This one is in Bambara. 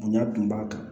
Bonya tun b'a kan